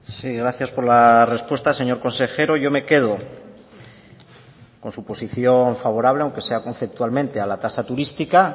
sí gracias por la respuesta señor consejero yo me quedo con su posición favorable aunque sea conceptualmente a la tasa turística